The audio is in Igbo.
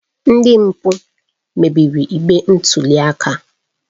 Ndị mpụ mebiri igbe ntụli aka